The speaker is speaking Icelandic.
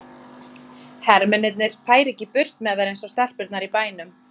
Hermennirnir færu ekki burt með þær eins og stelpurnar í bænum.